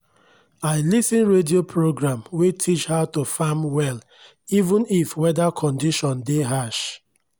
i lis ten radio program wey teach how to farm well even if weather condition dey harsh